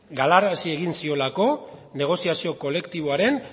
gararazi egin ziola negoziazio kolektiboaren